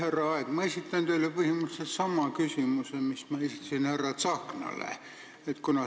Härra Aeg, ma esitan teile põhimõtteliselt sama küsimuse, mille ma esitasin härra Tsahknale.